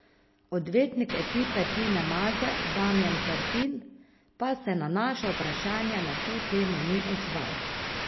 Odvetnik ekipe Tine Maze Damijan Terpin pa se na naša vprašanja na to temo ni odzval.